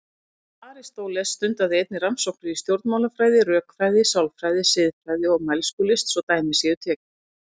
Aristóteles stundaði einnig rannsóknir í stjórnmálafræði, rökfræði, sálfræði, siðfræði og mælskulist svo dæmi séu tekin.